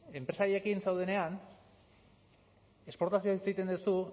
enpresariekin zaudenean esportazioaz hitz egiten duzu